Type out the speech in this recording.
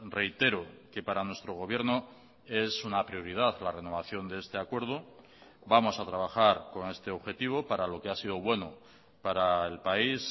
reitero que para nuestro gobierno es una prioridad la renovación de este acuerdo vamos a trabajar con este objetivo para lo que ha sido bueno para el país